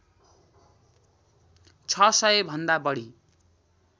छ सय भन्दा बढी